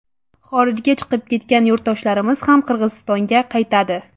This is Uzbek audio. Xorijga chiqib ketgan yurtdoshlarimiz ham Qirg‘izistonga qaytadi.